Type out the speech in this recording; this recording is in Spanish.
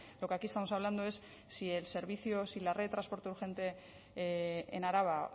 lo que aquí estamos hablando es si el servicio si la red de transporte urgente en araba